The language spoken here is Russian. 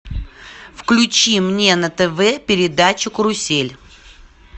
включи мне на тв передачу карусель